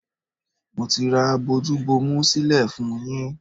Mo ti ra bojú bomu sílẹ̀ fún-un yín.